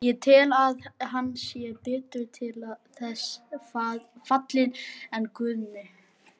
Ég tel að hann sé betur til þess fallinn en Guðni.